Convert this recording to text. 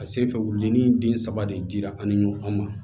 A sen fɛ wuludenin den saba de dira an ni ɲɔgɔn ma